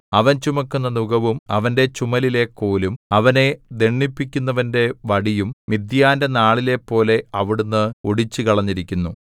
അവൻ ചുമക്കുന്ന നുകവും അവന്റെ ചുമലിലെ കോലും അവനെ ദണ്ഡിപ്പിക്കുന്നവന്റെ വടിയും മിദ്യാന്റെ നാളിലെപ്പോലെ അവിടുന്ന് ഒടിച്ചുകളഞ്ഞിരിക്കുന്നു